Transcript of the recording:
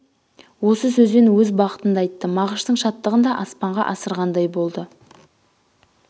осы сөзбен өз бақытын да айтты мағыштың шаттығын да аспанға асырғандай болды